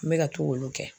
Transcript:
N bɛ ka to k'olu kɛ